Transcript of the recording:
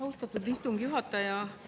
Austatud istungi juhataja!